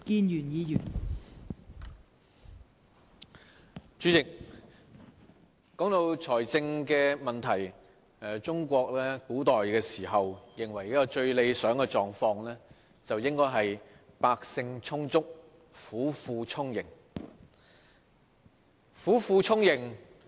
代理主席，談到財政問題，中國古時認為一個最理想的狀況，應該是百姓充足，府庫充盈。